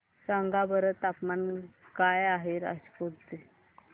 सांगा बरं तापमान काय आहे राजकोट चे